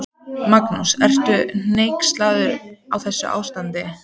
Magnús: Ertu hneyksluð á þessu ástandi?